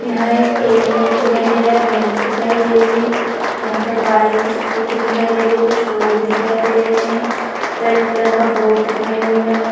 यहाँ एक ए.टी.एम. दिखाई दे रहा है बैंक दिखाई दे रही है यहाँ पर बाइक स्कूटी दिखाई दे रही है कुछ लोग दिखाई दे रहे है रेड कलर का बोर्ड दिखाई दे रहा है ।